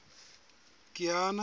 kiana